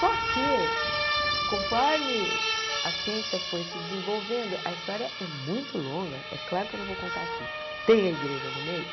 Só que, conforme a ciência foi se desenvolvendo, a história é muito longa, é claro que eu não vou contar aqui, tem a igreja no meio,